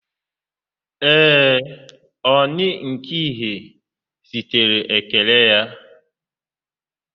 Ee, Oni nke Ife zitere ekele ya